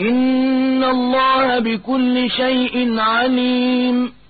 إِنَّ اللَّهَ بِكُلِّ شَيْءٍ عَلِيمٌ